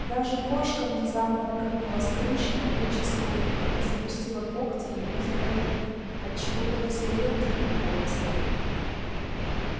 даже кошка внезапно прыгнула с крыши на плечи скотника и запустила когти ему за воротник отчего тот взревел диким голосом